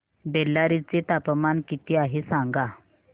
बेल्लारी चे तापमान किती आहे सांगा